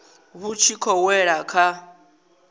vhu tshi khou wela kha